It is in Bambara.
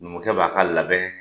Numukɛ b'a ka labɛn kɛ